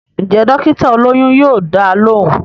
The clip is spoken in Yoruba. Ǹjẹ́ dọ́kítà olóyún yóò dá a lóhùn